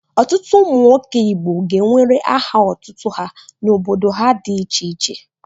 Ọtụtụ ụmụnwoke Igbo ga-ewere aha otutu ha n'obodo ha dị iche iche.